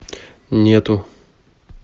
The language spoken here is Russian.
нету